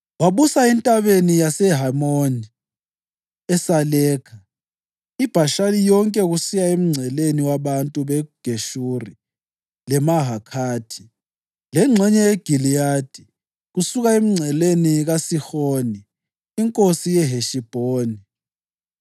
Wabusa eNtabeni yaseHemoni, eSalekha, iBhashani yonke kusiya emngceleni wabantu beGeshuri leMahakhathi, lengxenye yeGiliyadi kusiya emngceleni kaSihoni inkosi yeHeshibhoni.